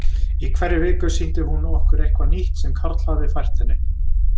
Í hverri viku sýndi hún okkur eitthvað nýtt sem Karl hafði fært henni.